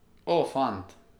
O, fant!